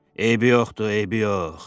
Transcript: Eybi yoxdur, eybi yox!